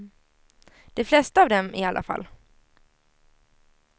De flesta av dem i alla fall.